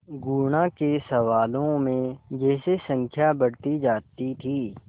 गुणा के सवालों में जैसे संख्या बढ़ती जाती थी